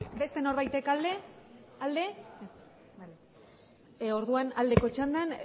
bale orduan aldeko txandan